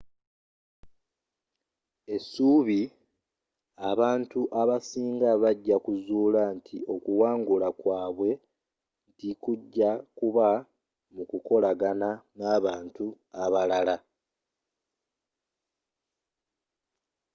essubi abantu abasinga bajja kuzula nti okuwangala kwabwe nti kujja kubba mu kukolagana n'abantu abalala